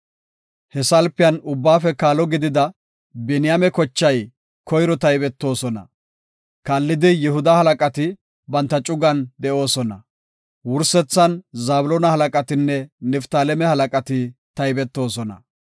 He salpiyan ubbaafe kaalo gidida Biniyaame kochay koyro taybetoosona. Kaallidi Yihuda halaqati banta cugan de7oosona; wursethan Zabloona halaqatinne Niftaaleme halaqati taybetoosona.